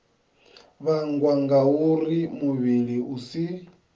vhangwa ngauri muvhili u si